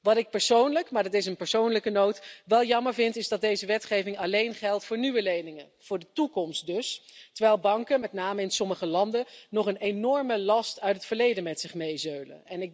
Wat ik persoonlijk wel jammer vind is dat deze wetgeving alleen geldt voor nieuwe leningen, voor de toekomst dus, terwijl banken met name in sommige landen nog een enorme last uit het verleden met zich meezeulen.